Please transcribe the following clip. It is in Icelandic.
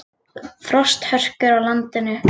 Frosthörkur á landinu